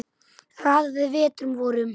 Raðaði vetrum vorum